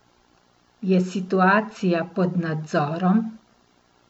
Je situacija pod nadzorom?